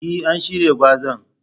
E, an shirya gwazan.